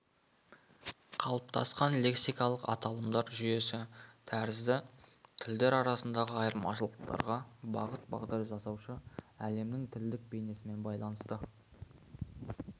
қалыптасқан лексикалық аталымдар жүйесі тәрізді тілдер арасындағы айырмашылықтарға бағыт бағдар жасаушы әлемнің тілдік бейнесімен байланысты